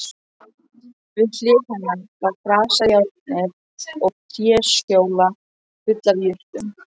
Við hlið hennar lá grasajárnið og tréskjóla full af jurtum.